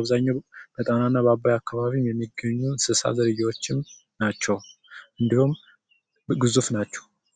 አብዛኛው ጊዜ በአባይና በጣና ዙርያ የሚገኙ የእንስሳት ዝርያዎችን ናቸው። እንዲሁም ግዙፍ ናቸው።